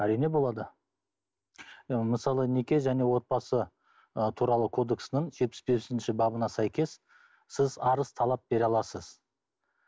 әрине болады мысалы неке және отбасы ы туралы кодексінің жетпіс бесінші бабына сәйкес сіз арыз талап бере аласыз